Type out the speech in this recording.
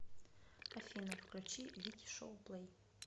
афина включи вики шоу плэй